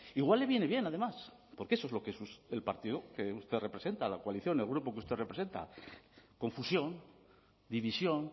igual le viene bien además porque eso es lo que es el partido que usted representa la coalición el grupo que usted representa confusión división